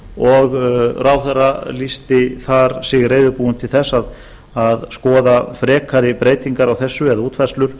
og ráðherra lýsti sig þar reiðubúinn til að skoða frekari breytingar á þessu eða útfærslur